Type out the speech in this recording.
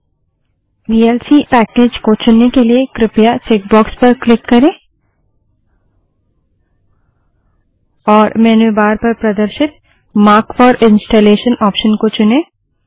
VLC package VLC package को चुनने के लिए कृपया चेक बाक्स पर क्लिक करें और मेन्यू बार पर प्रदर्शित मार्क फोर इंस्टॉलेशन ऑप्शन को चुनें